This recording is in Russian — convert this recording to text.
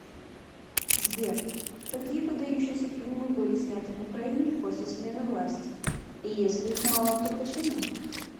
сбер какие выдающиеся фильмы были сняты в украине после смены власти и если их мало то почему